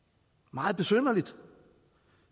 meget besynderligt